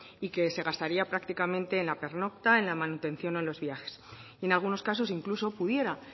y que se gastaría prácticamente en la pernocta en la manutención o en los viajes en algunos casos incluso pudiera